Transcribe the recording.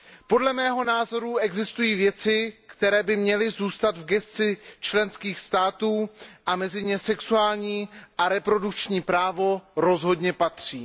Podle mého názoru existují věci, které by měly zůstat v gesci členských států, a mezi ně sexuální a reprodukční právo rozhodně patří.